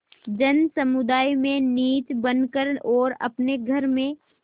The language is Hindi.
जनसमुदाय में नीच बन कर और अपने घर में